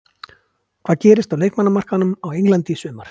Hvað gerist á leikmannamarkaðinum á Englandi í sumar?